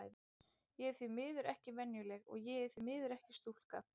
Ég er því miður ekki venjuleg, og ég er því miður ekki stúlka.